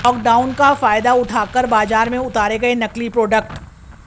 lockdown का फायदा उठाकर बाजार में उतारे गए नकली प्रोडक्ट